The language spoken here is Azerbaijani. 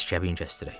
Biz kəbin kəsdirək.